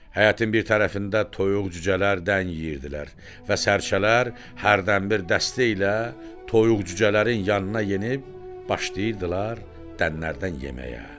Həyətin bir tərəfində toyuq cücələr dən yeyirdilər və sərçələr hərdənbir dəstə ilə toyuq cücələrin yanına yenib başlayırdılar dənlərdən yeməyə.